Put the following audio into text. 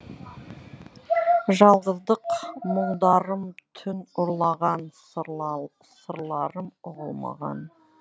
жалғыздық мұңдарым түн ұрлаған сырларым ұғылмаған